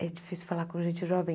É difícil falar com gente jovem.